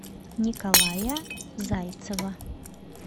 николая зайцева